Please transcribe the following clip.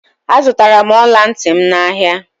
Azutara m ola nti m n'ahia